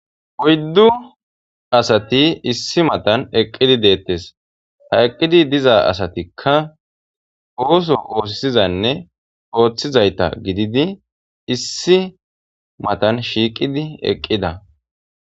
oyddu asati issi matan eqqidi deettes ha eqqidi diza asatikka ooso oosisizanne ooththizayta gididi issi matan shiiqidi eqqida